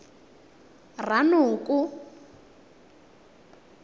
ranoko